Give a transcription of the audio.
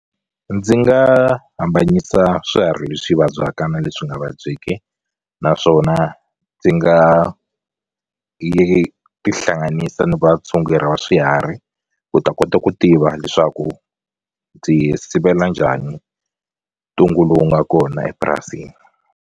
Ndzi nga hambanyisa swiharhi leswi vabyaka na leswi nga vabyeki naswona ndzi nga tihlanganisa ni vatshunguri va swiharhi ku ta kota ku tiva leswaku ndzi sivela njhani ntungu lowu nga kona epurasini.